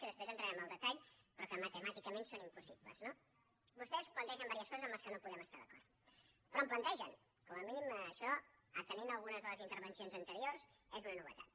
després entrarem en el detall però que matemàticament són impossibles no vostès plantegen algunes coses amb les quals no podem estar d’acord però en plantegen com a mínim això atenent a algunes de les intervencions anteriors és una novetat